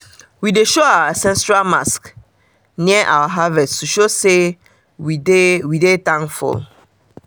we dey show our ancestral mask near our harvest to show say we dey we dey thankful